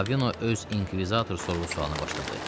Ravino öz inkvizitor sorğu-sualını başladı.